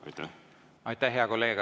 Aitäh, hea kolleeg!